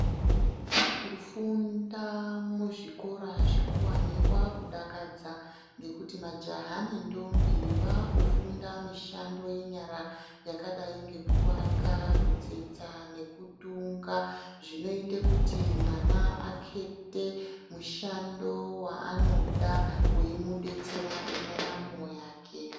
Kufunda muzvikora zvikuvani kwakudakadza. Ngekuti majaha nendombi vakufunda mishando yenyara yakadai ngekuvaka, kutsetsa nekutunga zvinoite kuti mwana akete mushando vaanoda uimubetsera mundaramo yake.